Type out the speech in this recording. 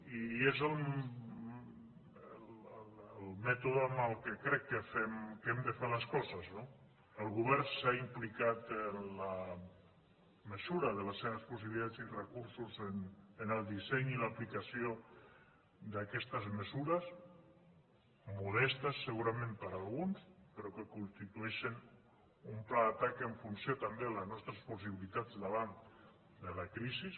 i és el mètode amb què crec que hem de fer les coses no el govern s’ha implicat en la mesura de les seves possibilitats i recursos en el disseny i l’aplicació d’aquestes mesures modestes segurament per a alguns però que constitueixen un pla d’atac en funció també de les nostres possibilitats davant de la crisi